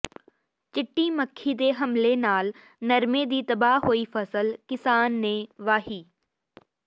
ਚਿੱਟੀ ਮੱਖੀ ਦੇ ਹਮਲੇ ਨਾਲ ਨਰਮੇ ਦੀ ਤਬਾਹ ਹੋਈ ਫ਼ਸਲ ਕਿਸਾਨ ਨੇ ਵਾਹੀ